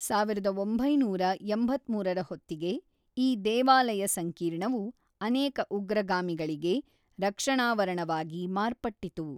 ಸಾವಿರದ ಒಂಬೈನೂರ ಎಂಬತ್ತ್ಮೂರರ ಹೊತ್ತಿಗೆ, ಈ ದೇವಾಲಯ ಸಂಕೀರ್ಣವು ಅನೇಕ ಉಗ್ರಗಾಮಿಗಳಿಗೆ ರಕ್ಷಣಾವರಣವಾಗಿ ಮಾರ್ಪಟ್ಟಿತು.